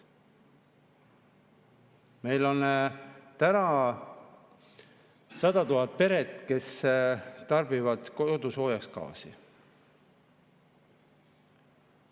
Meil on praegu 100 000 peret, kes tarbivad kodusoojaks gaasi.